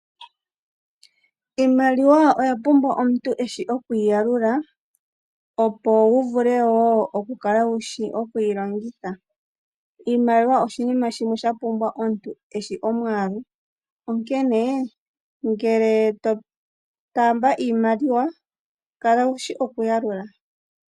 Iimaliwa oya pumbwa omuntu eshi okuyi yalula, opo wu vule wo okukala wushi okuyi longitha. Iimaliwa oshinima shimwe shapumbwa omuntu eshi omwaalu onkene ngele to taamba iimaliwa kala wushi oku yalula.